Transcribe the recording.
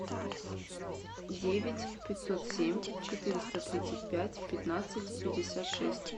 девять пятьсот семь четыреста тридцать пять пятнадцать пятьдесят шесть